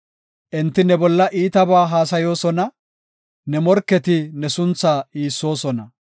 Enti ne bolla iitabaa haasayoosona; ne morketi ne suntha iissoosona.